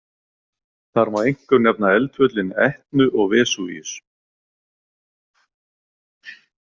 Þar má einkum nefna eldfjöllin Etnu og Vesúvíus.